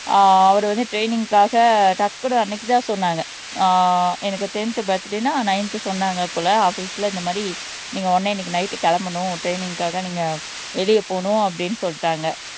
அஹ் அவர் வந்து ட்ரைனிங்க்காக டக்குன்னு அன்னைக்குதான் சொன்னாங்க அஹ் எனக்கு டென்த் பர்த்டேன்னா நைந்து சொன்னாங்க போல ஆபீஸ்ல இந்த மாதிரி நீங்க உடனே இன்னைக்கு நைட் கிளம்பணும் ட்ரைனிங்காக நீங்க வெளிய போகனும் அப்படீன்னு சொல்லிட்டாங்க